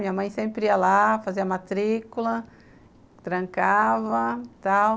Minha mãe sempre ia lá, fazia matrícula, trancava, tal.